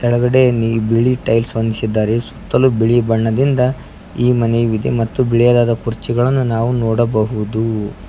ಕೆಳಗಡೆ ನೀ ಬಿಳಿ ಟೈಲ್ಸ್ ಹೊಂದಿಸಿದ್ದಾರೆ ಸುತ್ತಲು ಬಿಳಿ ಬಣ್ಣದಿಂದ ಈ ಮನೆ ವಿದೆ ಮತ್ತು ಬಿಳಿದಾದ ಕುರ್ಚಿಗಳನ್ನು ನಾವು ನೋಡಬಹುದು.